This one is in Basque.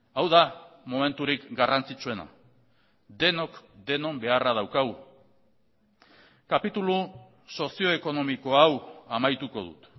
hau da momenturik garrantzitsuena denok denon beharra daukagu kapitulu sozio ekonomiko hau amaituko dut